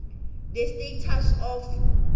the status of